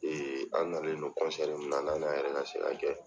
an nanlen min n'an y'a ka kɛ